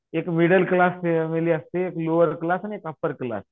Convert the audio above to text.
एक middle class family असते एक लोवर क्लास आणि एक अप्पर क्लास